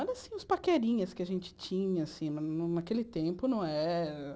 Era assim, uns paquerinhas que a gente tinha, assim, naquele tempo, não era